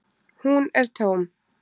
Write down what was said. Hún er tóm.